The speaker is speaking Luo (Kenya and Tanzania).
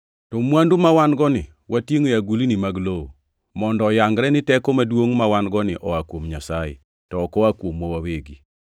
To mwandu mawan-goni watingʼo e agulni mag lowo, mondo oyangre ni teko maduongʼ mawan-goni oa kuom Nyasaye, to ok oa kuomwa wawegi.